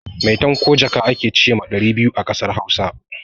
Maitan ko jaka a ke ce ma ɗari biyu a ƙasar Hausa.